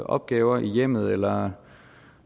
opgaver i hjemmet eller